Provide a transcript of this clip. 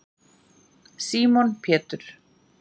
símon pétur